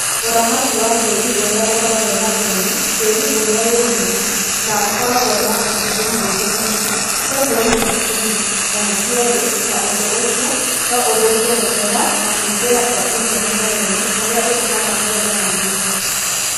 Ũramati wa tĩĩri ũrĩa ũkoragwo na ũnyũ Tĩĩri ũrĩa wĩ mũnyũ no ũkoragwo na cumbĩ mũingĩ mũno, sodium nyingĩ mũno kana cierĩ na ũndũ ũcio no ũthũkie mũmera na kũingira kwa irio mũmerainĩ ũria ũtũmaga magetha manyihe